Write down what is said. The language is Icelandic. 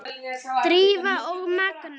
Drífa og Magnús.